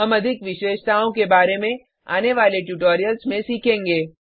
हम अधिक विशेषताओं के बारे में आने वाले ट्यूटोरियल्स में सीखेंगे